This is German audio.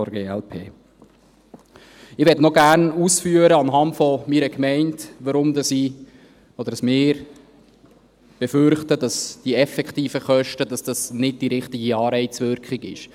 Ich möchte anhand meiner Gemeinde noch gerne ausführen, weshalb ich oder wir befürchten, dass die effektiven Kosten …, dass dies nicht die richtige Anreizwirkung ist.